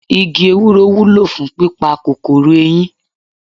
Igi Ewúro wúlò fún pípa kòkòrò eyín.